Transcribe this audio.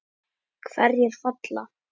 Hverjir falla?